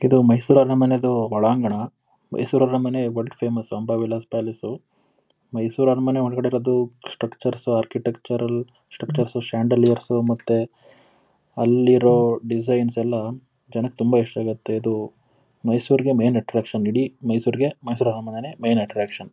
ಇದು ಮೈಸೂರು ಅರಮನೆದು ಒಳಾಂಗಣ. ಮೈಸೂರು ಅರಮನೆ world famous Amba Vilas palace . Mysuru ಅರಮನೆ ಒಳಗಡೆ ಇರೋದು structures architectural structures chandeliers ಮತ್ತೆ ಅಲ್ಲಿರೋ ಡಿಸೈನ್ಸ್ ಎಲ್ಲ ಜನಕ್ಕೆ ತುಂಬಾ ಇಷ್ಟ ಆಗುತ್ತೆ. ಇದು ಮೈಸೂರಿಗೆ ಮೇನ್ ಅಟ್ಟ್ರಾಕ್ಷನ್ . ಇಡೀ ಮೈಸೂರಿಗೆ ಮೈಸೂರು ಅರಮನೆನೇ ಮೇನ್ ಅಟ್ರಾಕ್ಷನ್ .